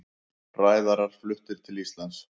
Ræðarar fluttir til Íslands